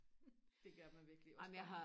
det gør man virkelig også bare